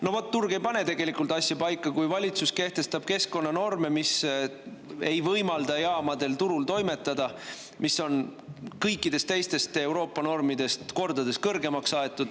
No vot, turg ei pane tegelikult asja paika, kui valitsus kehtestab keskkonnanorme, mis ei võimalda jaamadel turul toimetada, mis on kõikidest teistest Euroopa normidest kordades kõrgemaks aetud.